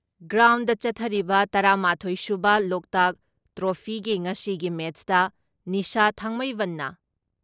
ground ꯆꯠꯊꯔꯤꯕ ꯇꯔꯥ ꯃꯥꯊꯣꯏ ꯁꯨꯕ ꯂꯣꯛꯇꯥꯛ ꯇ꯭ꯔꯣꯐꯤꯒꯤ ꯉꯁꯤꯒꯤ ꯃꯦꯠꯁꯇ ꯅꯤꯁꯥ ꯊꯥꯡꯃꯩꯕꯟꯅ